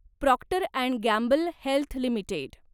Procter and Gamble Health limited